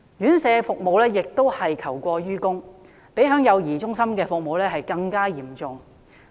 院舍服務同樣求過於供，相比幼兒中心的服務更為嚴重。